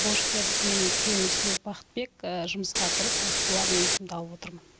борышкер менің күйеуім істілеуов бахытбек жұмысқа тұрып уақытылы алиментімді алып отырмын